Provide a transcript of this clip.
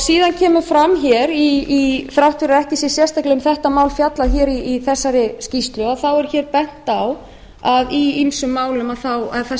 síðan kemur fram hér þrátt fyrir að ekki sé sérstaklega um þetta mál fjallað hér í þessari skýrslu þá er hér bent á að í ýmsum málum